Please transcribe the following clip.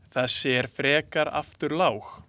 Þessi er frekar afturlág.